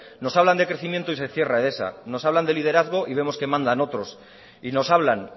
nos hablan de crecimiento y se cierra edesa nos hablan de liderazgo y vemos que mandan otros y nos hablan